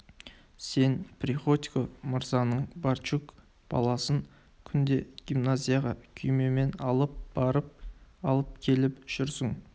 сен приходько мырзаның барчук баласын күнде гимназияға күймемен алып барып алып келіп жүрсің